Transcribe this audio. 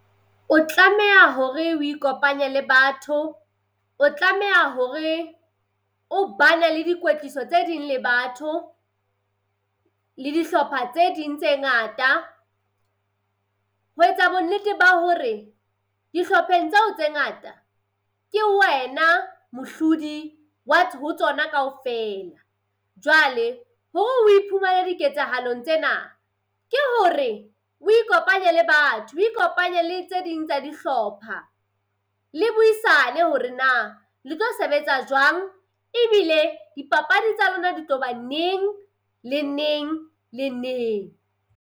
O tlameha hore o ikopanye le batho. O tlameha hore o ba ne le dikwetliso tse ding le batho le dihlopha tse ding tse ngata ho etsa bonnete ba hore dihlopheng tseo tse ngata ke wena mohlodi wa ho tsona kaofela. Jwale hore o iphumane diketsahalong tsena ke hore o ikopanye le batho o ikopanye le tse ding tsa dihlopha le buisane hore na le tlo sebetsa jwang, ebile dipapadi tsa lona di tlo ba neng le neng le neng.